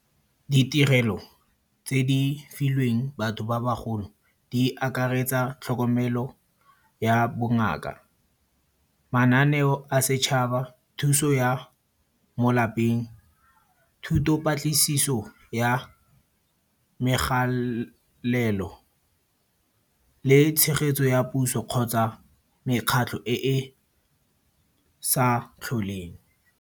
Ditirelo tse di filweng batho ba bagolo, di akaretsa tlhokomelo ya bongaka, mananeo a setšhaba, thuso ya mo lapeng, thuto patlisiso ya megalelo le tshegetso ya puso kgotsa mekgatlho e e sa tlholeng.